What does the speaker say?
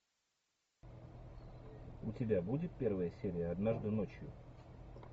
у тебя будет первая серия однажды ночью